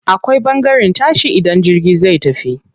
Akwai ɓangaren tashi idan jirgi zai tafi.